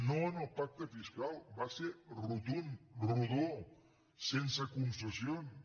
no al pacte fiscal va ser rotund rodó sense concessions